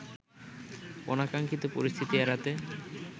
অনাকাঙ্খিত পরিস্থিতি এড়াতে